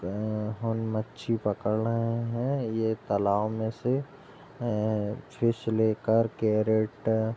और मछी पकड़ रहे है ये तालाब में से फिश लेकर कैरट --